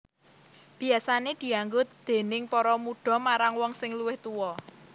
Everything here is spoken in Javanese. Biasané dianggo déning para mudha marang wong sing luwih tuwa